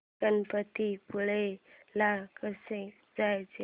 गणपतीपुळे ला कसं जायचं